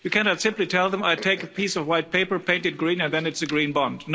You cannot simply tell them, I take a piece of white paper, paint it green and then it's a green bond'.